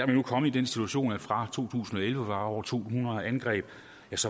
vi nu kommet i den situation at fra to tusind og elleve var over to hundrede angreb